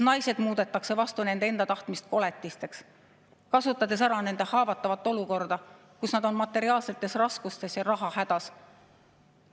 Naised muudetakse vastu nende enda tahtmist koletisteks, kasutades ära nende haavatavat olukorda, kus nad on materiaalsetes raskustes ja rahahädas.